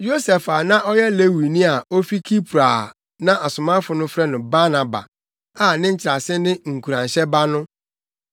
Yosef a na ɔyɛ Lewini a ofi Kipro a na asomafo no frɛ no Barnaba, a ne nkyerɛase ne “Nkuranhyɛ Ba” no,